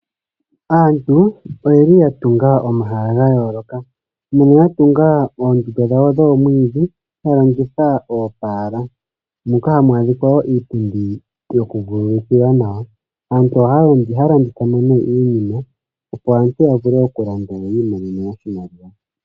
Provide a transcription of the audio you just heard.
Aantu oyeli ya tunga omahala ga yooloka moka ya tunga oondunda dhawo dhomwiidhi ya longitha oopala moka hamu adhika wo iipundi yoku vululkila nawa aantu ohaa landitha ihe iinima opo aantu ya vule okulanda yo yi imonene mo iimaliwa.